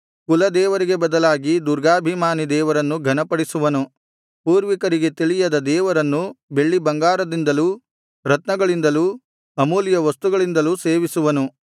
ಕುಲದೇವರಿಗೆ ಬದಲಾಗಿ ದುರ್ಗಾಭಿಮಾನಿ ದೇವರನ್ನು ಘನಪಡಿಸುವನು ಪೂರ್ವಿಕರಿಗೆ ತಿಳಿಯದ ದೇವರನ್ನು ಬೆಳ್ಳಿಬಂಗಾರದಿಂದಲೂ ರತ್ನಗಳಿಂದಲೂ ಅಮೂಲ್ಯ ವಸ್ತುಗಳಿಂದಲೂ ಸೇವಿಸುವನು